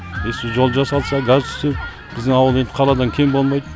если жол жасалса газ түссе біздің ауыл енді қаладан кем болмайды